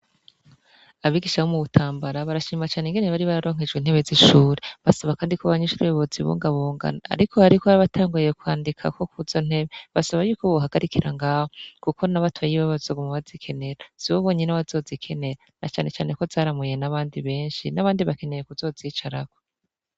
Abigisha bo mu butambara barashima cane ingene bari bararonkejwe intebe z'ishure basaba, kandi ko abanyishure bozi bungabunga, ariko hariko abari batanguye kwandikako kuzo ntebe basaba yuko bohagarikira ngaho, kuko nabatoyi bawo bazoba bazikenera sibo bonyene bazozi kenera na canecane ko zarimuye n'abandi benshi, n'abandi bakeneye kuzozicarako.